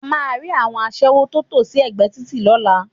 A máa rí àwọn aṣẹ́wó tó tò sí ẹ̀gbẹ́ títì lọ́la